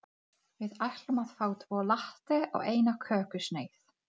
Hún bjó í Ungverjalandi þegar hún var ung.